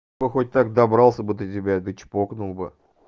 ну хоть так добрался бы до тебя да чпокнул бы